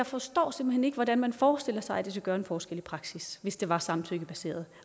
forstår hvordan man forestiller sig at det skulle gøre en forskel i praksis hvis det var samtykkebaseret